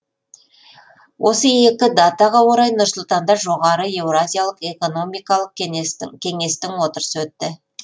осы екі датаға орай нұр сұлтанда жоғары еуразиялық экономикалық кеңестің отырысы өтті